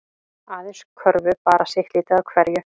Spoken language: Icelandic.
Aðeins körfu bara sitt lítið af hverju